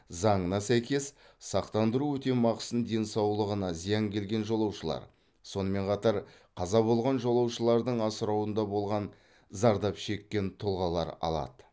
заңына сәйкес сақтандыру өтемақысын денсаулығына зиян келген жолаушылар сонымен қатар қаза болған жолаушылардың асырауында болған зардап шеккен тұлғалар алады